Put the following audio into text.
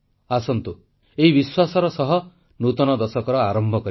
ଆସନ୍ତୁ ଏଇ ବିଶ୍ୱାସର ସହ ନୂତନ ଦଶକର ଆରମ୍ଭ କରିବା